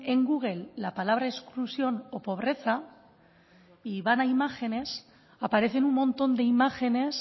en google la palabra exclusión o pobreza y van a imágenes aparecen un montón de imágenes